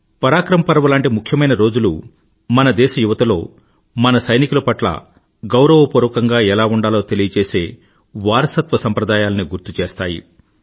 పరాక్రమ్ పర్వ్ లాంటి ముఖ్యమైన రోజులు మన దేశ యువతలో మన సైనికుల పట్ల గౌరవపూర్వకంగా ఎలా ఉండాలో తెలిపేలాంటి వారసత్వ సంప్రదాయాల్ని గుర్తు చేస్తాయి